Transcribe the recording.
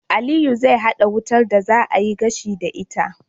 Aliyu zai hada wutar da za a yi gashi da ita